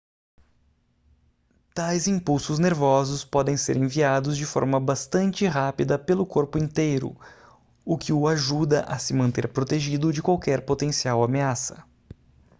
tais impulsos nervosos podem ser enviados de forma bastante rápida pelo corpo inteiro o que o ajuda a se manter protegido de qualquer potencial ameaça